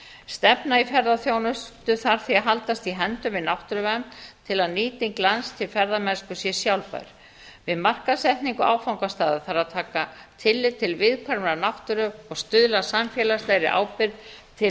stefna í ferðaþjónustu þarf því að haldast í hendur við náttúruvernd til að nýting lands til ferðamennsku sé sjálfbær við markaðssetningu áfangastaða þarf að taka tillit til viðkvæmrar náttúru og stuðla að samfélagslegri ábyrgð til